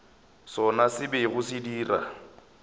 sona se bego se dira